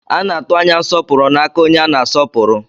A na-atụ anya nsọpụrụ n'aka onye a na-asọpụrụ.